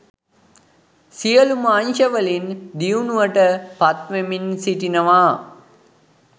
සියලු ම අංශවලින් දියුණුවට පත්වෙමින් සිටිනවා